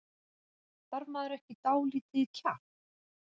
Þarf maður ekki dálítið kjark?